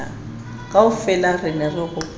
kaofela re ne re hopola